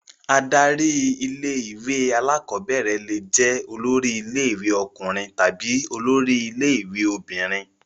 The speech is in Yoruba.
Adarí ilé-ìwé alákọ̀ọ́bẹ̀rẹ̀ le jẹ́ olórí ilé-ìwé ọkùnrin tàbí olórí ilé-ìwé obìnrin.